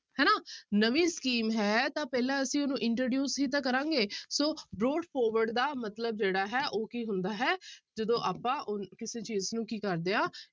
ਨਵੀਂ scheme ਹੈ ਤਾਂ ਪਹਿਲਾਂ ਅਸੀਂ ਉਹਨੂੰ introduce ਹੀ ਤਾਂ ਕਰਾਂਗੇ ਸੋ broad forward ਦਾ ਮਤਲਬ ਜਿਹੜਾ ਹੈ ਉਹ ਕੀ ਹੁੰਦਾ ਹੈ ਜਦੋਂ ਆਪਾਂ ਉਹ ਕਿਸੇ ਚੀਜ਼ ਨੂੰ ਕੀ ਕਰਦੇ ਹਾਂ